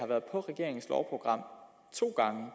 to gange